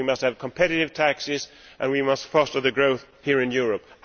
We must have competitive taxes, and we must focus on growth here in Europe.